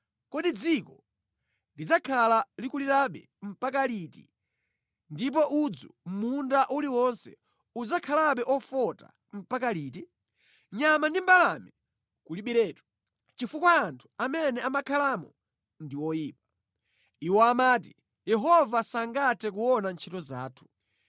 Kodi dziko lidzakhala likulirabe mpaka liti ndipo udzu mʼmunda uliwonse udzakhalabe ofota mpaka liti? Nyama ndi mbalame kulibiretu chifukwa anthu amene amakhalamo ndi oyipa. Iwo amati: “Yehova sangathe kuona ntchito zathu.”